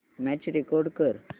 match record कर